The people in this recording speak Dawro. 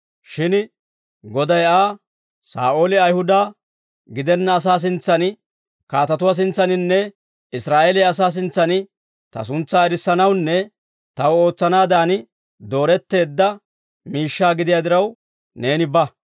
Shin Goday Aa, «Saa'ooli Ayihuda gidenna asaa sintsan, kaatatuwaa sintsaaninne Israa'eeliyaa asaa sintsan, Ta suntsaa erissanawunne Taw ootsanaadan dooretteedda miishshaa gidiyaa diraw, neeni ba.